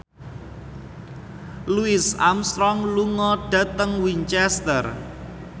Louis Armstrong lunga dhateng Winchester